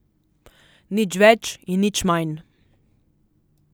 Nič več in nič manj.